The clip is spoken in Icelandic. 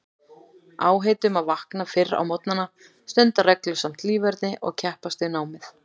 Áheit um að vakna fyrr á morgnana, stunda reglusamt líferni og keppast við námið.